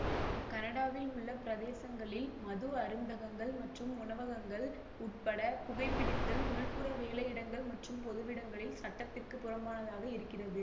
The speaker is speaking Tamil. கனடாவில் உள்ள பிரேதசங்களில் மது அருந்தகங்கள் மற்றும் உணவகங்கள் உட்பட புகைபிடித்தல் உள்புற வேலையிடங்கள் மற்றும் பொதுவிடங்களில் சட்டத்திற்கு புறம்பானதாக இருக்கிறது